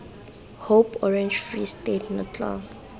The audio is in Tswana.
hope orange free state natal